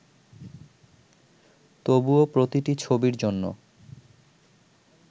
তবুও প্রতিটি ছবির জন্য